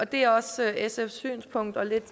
det er også sfs synspunkt og lidt